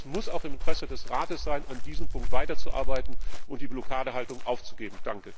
Ich denke, es muss auch im Interesse des Rates sein, an diesem Punkt weiterzuarbeiten und die Blockadehaltung aufzugeben.